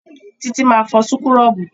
Títí máa fọ súkúrọ́bù